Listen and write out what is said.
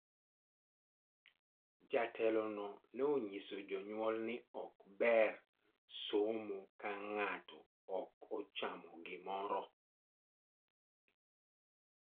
Jatelono ne onyiso jonyuol ni ok ber somo ka ng'ato ok ochamo gimoro.